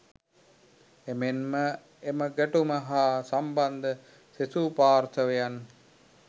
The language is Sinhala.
එමෙන්ම එම ගැටුම හා සම්බන්ධ සෙසු පාර්ශවයන්